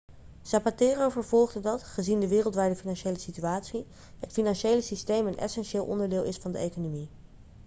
zapatero vervolgde dat gezien de wereldwijde financiële situatie het financiële systeem een essentieel onderdeel is van de economie